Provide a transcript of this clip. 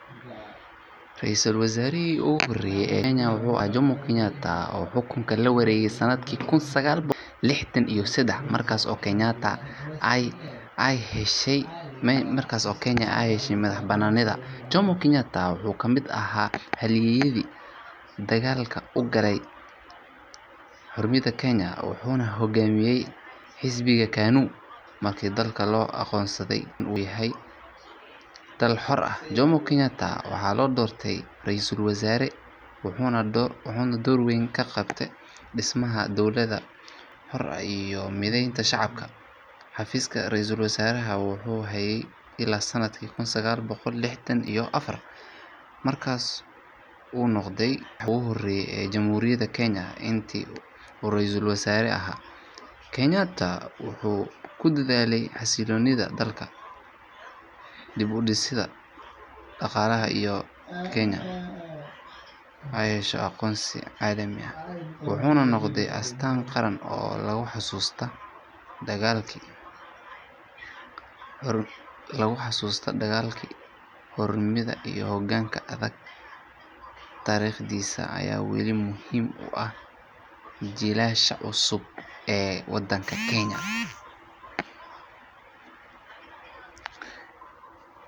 Ra’iisul Wasaarihii ugu horreeyay ee Kenya wuxuu ahaa Jomo Kenyatta, kaas oo xukunka la wareegay sanadkii 1963, markii Kenya ay heshay madax-bannaanideeda. Jomo Kenyatta wuxuu ka mid ahaa halyeeyadii dagaalkii loogu jiray xorriyadda Kenya, wuxuuna hoggaaminayay xisbiga KANU . Markii dalka Kenya loo aqoonsaday inuu yahay dal xor ah, Jomo Kenyatta waxaa loo doortay Ra’iisul Wasaare, halkaasoo uu door weyn ka qaatay dhismaha dowlad rasmi ah, koritaanka shacabka, iyo xasilloonida dalka. Wuxuu hayay xafiiska Ra’iisul Wasaaraha ilaa sanadkii 1964, markaas kadibna wuxuu noqday Madaxweynihii ugu horreeyay ee Jamhuuriyadda Kenya. Jomo Kenyatta wuxuu si weyn ugu dadaalay xasilloonida gudaha dalka, dib-u-dhisidda dhaqaalaha, iyo helitaanka aqoonsi caalami ah ee Kenya. Wuxuu noqday astaan qaran oo loogu xasuusto dagaalkii xorriyadda, hoggaan adag, iyo dhismaha qaranimada Kenya. Taariikhdiisa weli waxay muhiim u tahay jiilasha cusub ee Kenya, waxaana lagu xusuustaa hoggaan geesi ah iyo waddaniyad dhab ah.